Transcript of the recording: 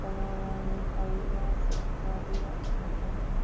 लगा हुआ है --